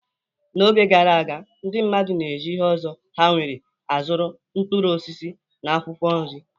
N'oge gara aga, ndị mmadụ na-eji ihe ọzọ ha nwere azụrụ mkpụrụ osisi na akwụkwọ nri.